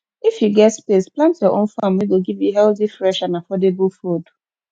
if you get space plant your own farm wey go give you healthy fresh and affordable food